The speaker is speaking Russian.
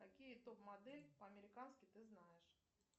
какие топ модель по американски ты знаешь